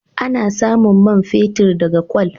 Ana samun man fetur daga kwal.